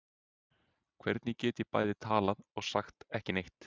Hvernig get ég bæði talað og sagt ekki neitt?